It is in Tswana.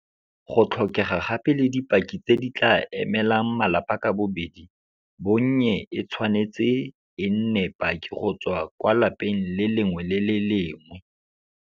Go tlhokega gape le dipaki tse di tla emelang malapa ka bobedi, bonnye e tshwanetse e nne paki go tswa kwa lapeng le lengwe le le lengwe.